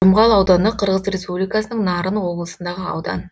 жұмғал ауданы қырғыз республикасының нарын облысындағы аудан